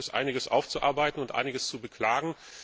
Da gibt es einiges aufzuarbeiten und einiges zu beklagen.